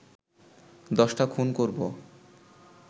দশটা খুন করবো